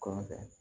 Kɔfɛ